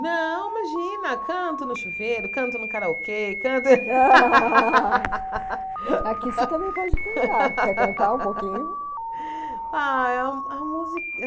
Não, imagina, canto no chuveiro, canto no karaokê, canto... Aqui você também pode cantar, quer cantar um pouquinho? Ah a música